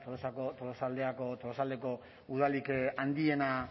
da tolosaldeko udalik handiena